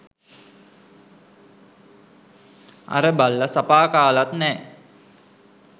අර බල්ල සපා කාලත් නෑ.